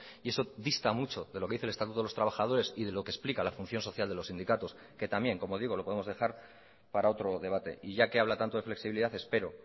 eso dista mucho de lo que dice el estatuto de los trabajadores y de lo que explica la función social de los sindicatos que también como digo lo podemos dejar para otro debate y ya que habla tanto de flexibilidad espero